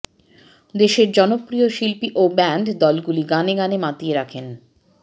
দেশের জনপ্রিয় শিল্পী ও ব্যান্ড দলগুলো গানে গানে মাতিয়ে রাখেন